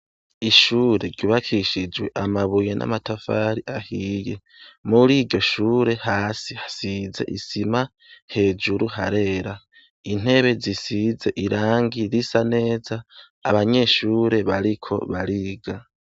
Ishure ryubakishijwe amabuye n'amatafari ahiye, muri iryo shure hasi hasize isima hejuru harera, intebe zisize irangi risa neza, abanyeshure bariko bariga.